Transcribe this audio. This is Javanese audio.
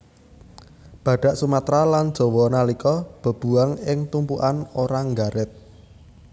Badhak Sumatra lan Jawa nalika bebuwang ing tumpukan ora nggaret